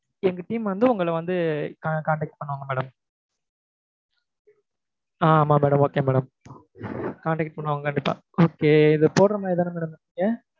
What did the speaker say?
எங்க team வந்து உங்களை வந்து contact பண்ணுவாங்க madam ஆஹ் ஆமாம் madam okay madam contact பண்ணுவாங்க கண்டிப்பா okay இது போடரமாதிரிதான madam இருக்கீங்க